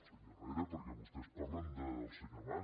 senyor herrera perquè vostès parlen del senyor mas